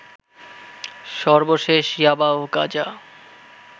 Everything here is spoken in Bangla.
সর্বশেষ ইয়াবা ও গাঁজা